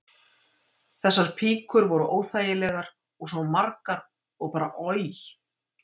Þessar píkur voru óþægilegar og svo margar og bara oj.